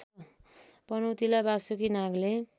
पनौतीलाई Basuki Nagle